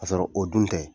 Ka sɔrɔ o dun tɛ